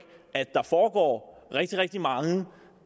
at der foregår rigtig rigtig mange